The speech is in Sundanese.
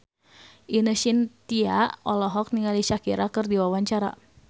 Ine Shintya olohok ningali Shakira keur diwawancara